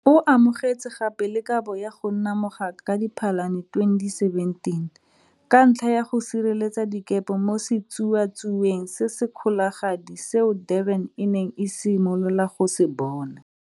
O amogetse gape le kabo ya go nna mogaka ka Diphalane 2017, ka ntlha ya go sireletsa dikepe mo setsuatsueng se se kgologadi seo Durban e neng e simolola go se bona.